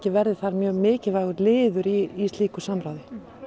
verði þar mjög mikilvægur liður í slíku samráði